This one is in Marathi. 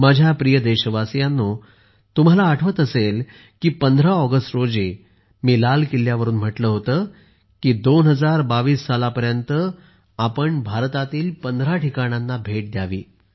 माझ्या प्रिय देशवासियांनो तुम्हाला आठवत असेल की 15 ऑगस्ट रोजी मी लाल किल्ल्यावरून म्हटले होते की 2022 सालापर्यंत आपण भारतातील पंधरा ठिकाणांना भेट द्यावी